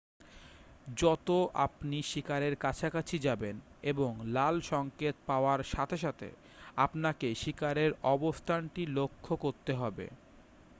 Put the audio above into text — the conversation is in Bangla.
যত আপনি শিকারের কাছাকাছি যাবেন এবং লাল সংকেত পাওয়ার সাথে সাথে আপনাকে শিকারের অবস্থানটি লক্ষ্য করতে হবে